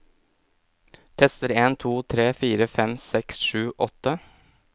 Tester en to tre fire fem seks sju åtte